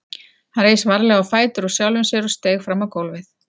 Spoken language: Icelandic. Hann reis varlega á fætur úr sjálfum sér og steig fram á gólfið.